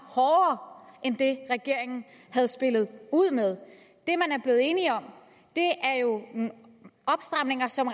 hårdere end det regeringen havde spillet ud med det man er blevet enige om er jo nogle opstramninger som